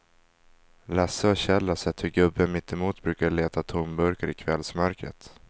Lasse och Kjell har sett hur gubben mittemot brukar leta tomburkar i kvällsmörkret.